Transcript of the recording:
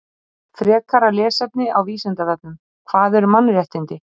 Frekara lesefni á Vísindavefnum: Hvað eru mannréttindi?